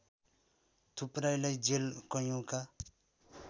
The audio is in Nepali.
थुप्रैलाई जेल कैयौँका